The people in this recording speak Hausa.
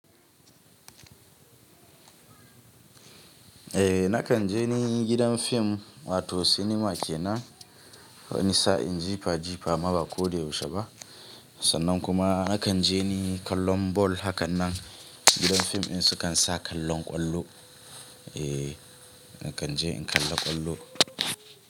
Eh, na kan je ni gidan fim, wato sinima kenan, wani sa'in jifa jifa maba ko dai yaushe ba. Sannan kuma na kan je kallon ball, hakan nan gidan fim in su kan sa kallon kwallo. Eh, na kan je in kalla kwallo.